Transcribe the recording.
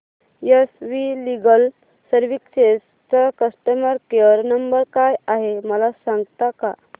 S V legal services चा customer care number काय आहे मला सांगता का